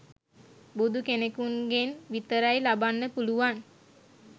බුදු කෙනෙකුන්ගෙන් විතරයි ලබන්න පුළුවන්.